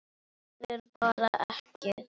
Þorði bara ekki.